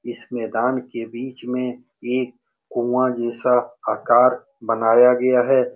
इस मैदान के बीच में एक कुआं जैसा आकार बनाया गया है।